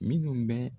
Minnu bɛ